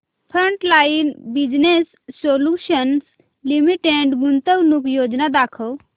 frontline business solutions limited गुंतवणूक योजना दाखव